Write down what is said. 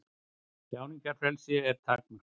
Tjáningarfrelsi er takmarkað